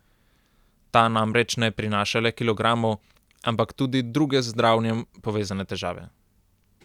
Ta namreč ne prinaša le kilogramov, ampak tudi druge z zdravjem povezane težave.